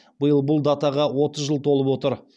биыл бұл датаға отыз жыл толып отыр